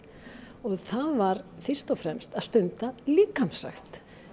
og það var fyrst og fremst að stunda líkamsrækt